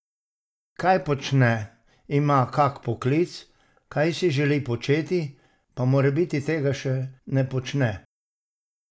Kaj počne, ima kak poklic, kaj si želi početi, pa morebiti tega še ne počne?